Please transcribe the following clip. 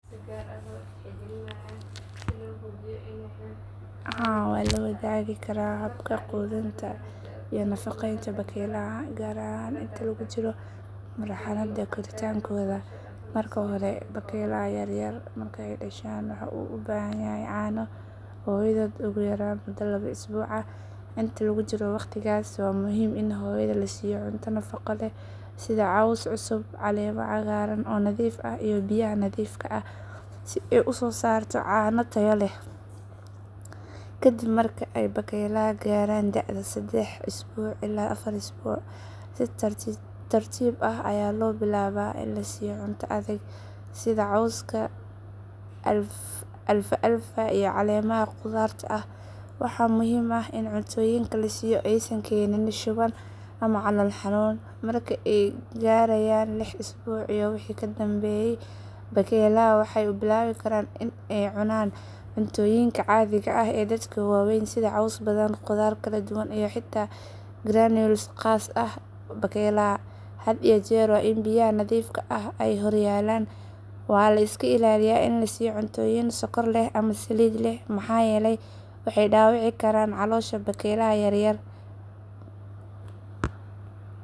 Haa waan la wadaagi karaa habka quudinta iyo nafaqeynta bakaylaha gaar ahaan inta lagu jiro marxaladda koritaankooda. Marka hore bakaylaha yar yar marka ay dhashaan waxay u baahan yihiin caano hooyadood ugu yaraan muddo laba isbuuc ah. Inta lagu jiro waqtigaas waa muhiim in hooyada la siiyo cunto nafaqo leh sida caws cusub, caleemo cagaaran oo nadiif ah iyo biyaha nadiifka ah si ay u soo saarto caano tayo leh. Kadib marka ay bakaylaha gaaraan da’da saddex isbuuc ilaa afar isbuuc, si tartiib tartiib ah ayaa loo bilaabaa in la siiyo cunto adag sida cawska alfalfa iyo caleemaha qudaarta ah. Waxa muhiim ah in cuntooyinka la siiyo aysan keenin shuban ama calool xanuun. Marka ay gaarayaan lix isbuuc iyo wixii ka dambeeya, bakaylaha waxay bilaabi karaan inay cunaan cuntooyinka caadiga ah ee dadka waaweyn sida caws badan, qudaar kala duwan, iyo xitaa granules khaas u ah bakaylaha. Had iyo jeer waa in biyaha nadiifka ah ay horyaallaan. Waa in la iska ilaaliyaa in la siiyo cuntooyin sonkor leh ama saliid leh maxaa yeelay waxay dhaawici karaan caloosha bakaylaha yar yar.